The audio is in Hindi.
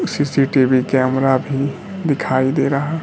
सी_सी_टी_वी कैमरा भी दिखाई दे रहा--